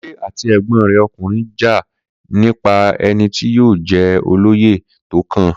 Kunle àti ẹ̀gbọ́n rẹ̀ ọkùnrin jà nípa ẹni tí yóò jẹ́ olóyè tó kàn